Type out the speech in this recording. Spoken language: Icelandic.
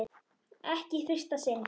Ekki í fyrsta sinn.